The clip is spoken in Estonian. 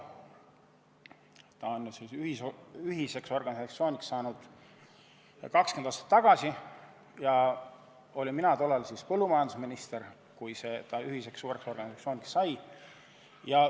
See sai ühiseks organisatsiooniks 20 aastat tagasi ja mina olin siis põllumajandusminister, kui see ühiseks suureks organisatsiooniks sai.